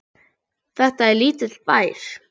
Þetta er lítill bær.